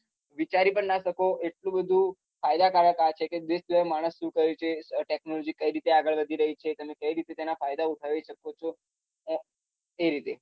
વિચારી પણ ના શકો એટલું બધું ફાયદા કારક માણસ સુ કરે છે આહ technology કઈ રીતે આગળ વધી રહી છે તેમનું કઈ રીતે તેના ફાયદા થઇ શકે છે આહ કઈ રીતે